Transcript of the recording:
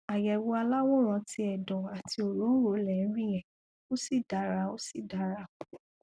àyẹwò aláwòrán ti ẹdọ àti òrònrò lẹ ń rí yẹn ó sì dára ó sì dára